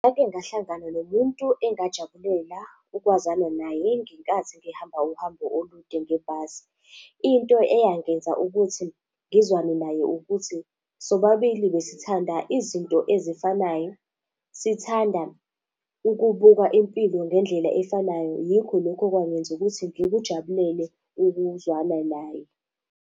Ngake ngahlangana nomuntu engajabulela ukwazana naye ngenkathi ngihamba uhambo olude ngebhasi. Into eyangenza ukuthi ngizwane naye ukuthi, sobabili besithanda izinto ezifanayo, sithanda ukubuka impilo ngendlela efanayo yikho lokhu okwangenza ukuthi ngikujabulele ukuzwana naye.